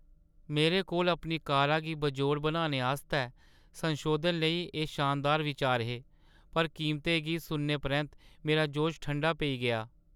मेरे कोल अपनी कारा गी बेजोड़ बनाने आस्तै संशोधनें लेई एह् शानदार बिचार हे, पर कीमतें गी सुनने परैंत्त, मेरा जोश ठंडा पेई गेआ...